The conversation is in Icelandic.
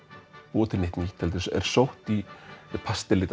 búa til neitt nýtt heldur er sótt í